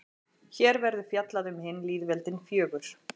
Hér verður fjallað um hin lýðveldin fjögur.